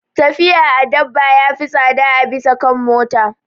Tafiya a dabba ya fi tsada a bisa kan mota.